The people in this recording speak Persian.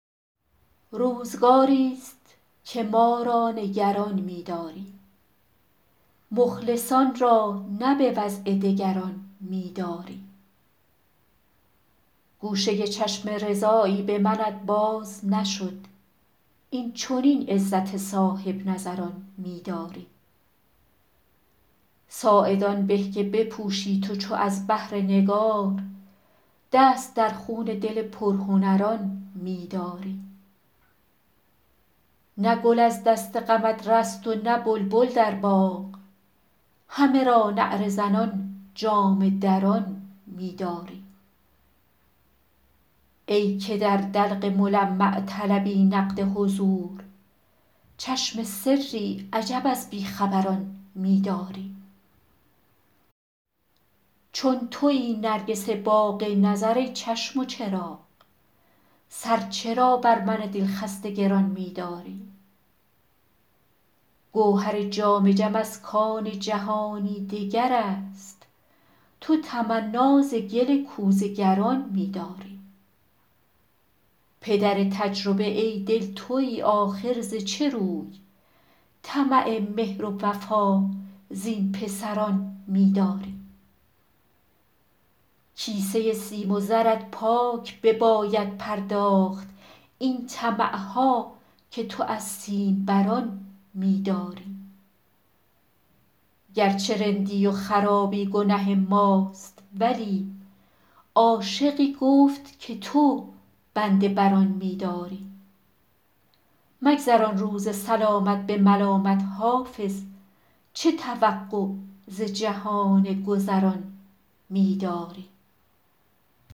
روزگاری ست که ما را نگران می داری مخلصان را نه به وضع دگران می داری گوشه چشم رضایی به منت باز نشد این چنین عزت صاحب نظران می داری ساعد آن به که بپوشی تو چو از بهر نگار دست در خون دل پرهنران می داری نه گل از دست غمت رست و نه بلبل در باغ همه را نعره زنان جامه دران می داری ای که در دلق ملمع طلبی نقد حضور چشم سری عجب از بی خبران می داری چون تویی نرگس باغ نظر ای چشم و چراغ سر چرا بر من دل خسته گران می داری گوهر جام جم از کان جهانی دگر است تو تمنا ز گل کوزه گران می داری پدر تجربه ای دل تویی آخر ز چه روی طمع مهر و وفا زین پسران می داری کیسه سیم و زرت پاک بباید پرداخت این طمع ها که تو از سیم بران می داری گر چه رندی و خرابی گنه ماست ولی عاشقی گفت که تو بنده بر آن می داری مگذران روز سلامت به ملامت حافظ چه توقع ز جهان گذران می داری